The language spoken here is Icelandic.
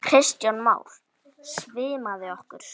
Kristján Már: Svimaði ykkur?